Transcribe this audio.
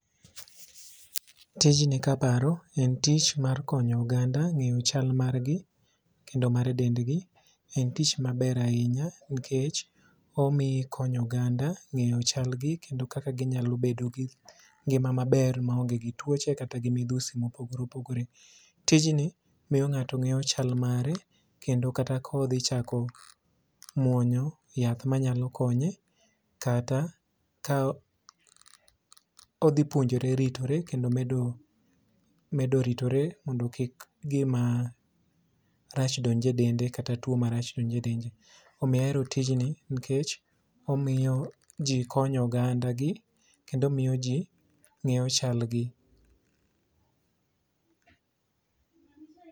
Tijni kaparo en tich mar konyo oganda ng'eyo chal margi kendo mar dendgi en tich maber ahinya nikech omi ikonyo oganda ng'eyo chalgi kendo kaka ginyalo bedo gi ngima maber maonge gi tuoche kata gi midhusi mopogore opogore. Tijni miyo ng'ato ng'eyo chal mare kendo kata kodhi chako muonyo yath manyalo konye kata ka odhipuonjore ritore kendo medo ritore mondo kik gima rach donj e dende kata tuo marach donj e dende. Omiyo ahero tijni nikech omiyo ji konyo ogandagi kendo miyo ji ng'eyo chalgi.